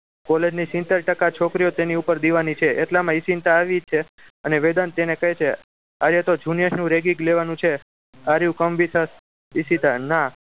College ની સિતેર ટકા છોકરીઓ તેના પર દીવાની છે એટલામાં ઇશિતા આવી છે અને વેદાંત તેને કહે છે આજે તો junior નું ragging લેવાનું છે are you come with as Ishita ના